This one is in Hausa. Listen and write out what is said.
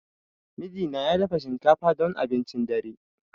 Mijina ya dafa shinkafa don abincin dare.